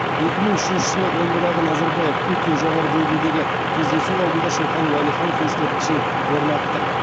екі мың үшінші жылы омбыдағы назарбаев путин жоғары деңгейдегі кездесу алдында шоқан уәлиханов ескерткішін орнаттық